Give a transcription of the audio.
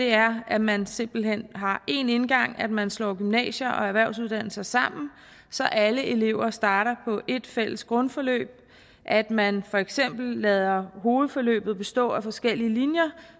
er at man simpelt hen har én indgang at man slår gymnasier og erhvervsuddannelser sammen så alle elever starter på et fælles grundforløb at man for eksempel lader hovedforløbet bestå af forskellige linjer